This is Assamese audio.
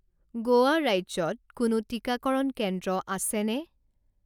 গোৱা ৰাজ্যত কোনো টিকাকৰণ কেন্দ্ৰ আছেনে?